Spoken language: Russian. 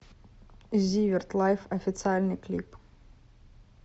зиверт лайф официальный клип